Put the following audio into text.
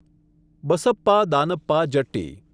Basappa Danappa Jatti